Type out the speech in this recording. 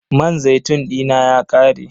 Man zaitun dina ya ƙare.